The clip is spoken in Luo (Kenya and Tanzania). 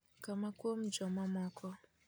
kama kuom joma moko,